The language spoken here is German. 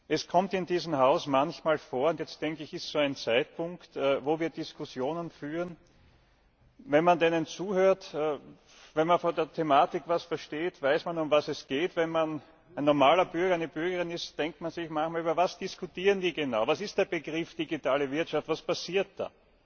Es kommt in diesem Haus manchmal vor und jetzt, denke ich, ist so ein Zeitpunkt wo wir Diskussionen führen wenn man denen zuhört, wenn man von der Thematik etwas versteht, weiß man, um was es geht, wenn man ein normaler Bürger eine normale Bürgerin ist, denkt man sich manchmal Über was diskutieren die genau, was ist der Begriff digitale Wirtschaft, was passiert da?